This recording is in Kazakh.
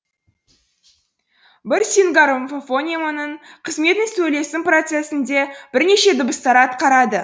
бір сингармофонеманың қызметін сөйлесім процесінде бірнеше дыбыстар атқарады